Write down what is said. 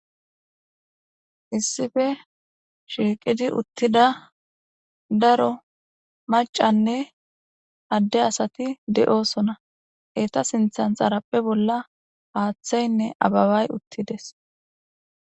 issife shiiqidi uttida daro macanne adde asati de7osona eta sinthan tarappe bolla paaththaynne ababay uttides